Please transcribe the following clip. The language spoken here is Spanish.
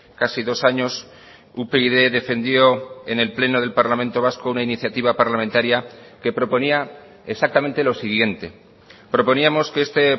casi dos años upyd defendió en el pleno del parlamento vasco una iniciativa parlamentaria que proponía exactamente lo siguiente proponíamos que este